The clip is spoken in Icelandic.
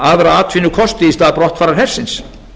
aðra atvinnukosti í stað brottfarar hersins